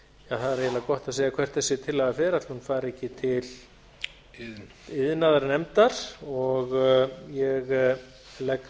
það er eiginlega gott að segja hvert þessi tillaga fer ætli hún fari ekki til iðnaðarnefndar ég legg